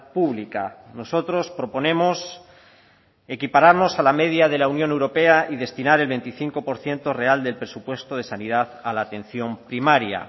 pública nosotros proponemos equipararnos a la media de la unión europea y destinar el veinticinco por ciento real del presupuesto de sanidad a la atención primaria